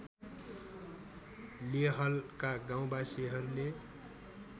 लेहलका गाउँवासीहरूले